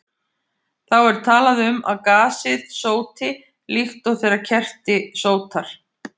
Þá er talað um að gasið sóti, líkt og þegar kerti sótar.